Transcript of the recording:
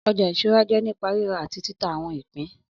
Ọjà ìṣúra jẹ́ nípa rírà àti títa àwọn ìpín